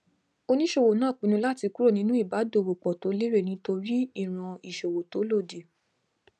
oníṣòwò náà pinnu láti kúrò nínú ìbádòwòpọ tó lérè lórí nítorí ìran ìṣòwò tó lòdì